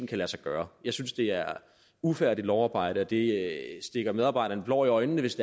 kan lade sig gøre jeg synes det er ufærdigt lovarbejde og det stikker medarbejderne blår i øjnene hvis